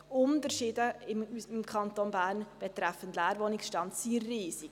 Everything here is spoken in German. Die Unterschiede in unserem Kanton Bern betreffend Leerwohnungsstand sind riesig.